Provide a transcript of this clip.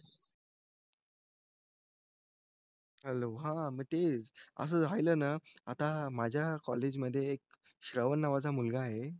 hello हा असं झालं ना आता माझ्या कॉलेजमध्ये एक श्रावण नावाचा मुलगा आहे